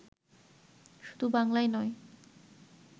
শুধু বাংলায় নয়